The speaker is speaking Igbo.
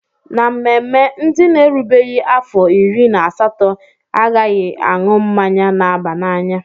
Na mmemme, ndị n'erubeghi afọ iri na asatọ a ghaghị aṅụ mmanya na-aba n'anya.